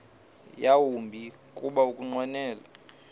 yawumbi kuba ukunqwenela